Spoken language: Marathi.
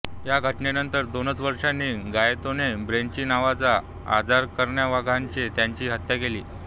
या घटनेनंतर दोनच वर्षांनी गाएतानो ब्रेस्ची नावाच्या अराजकतावाद्याने त्याची हत्या केली